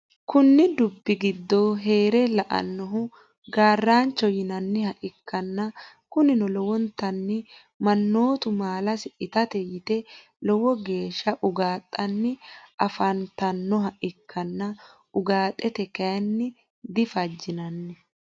Kuni dubbi gido herre lelanohu garrancho yinaniha ikana kunino lowonitani manottu mallasi itattate yitte lowo geshsha ugaxxanni afafnitanoha ikana ugaxxate kayinila diffajnanni.